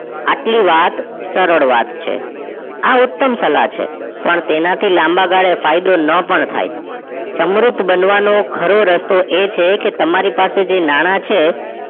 આટલી વાત સરળ વાત છે આ ઉતમ સલાહ છે પણ તેના થી લાંબા ગાળે ફાયદો ન પણ થાય સમૃદ્ધ બનવાનો ખરો રસ્તો એ છે કે તમારી પાસે જે નાણાં છે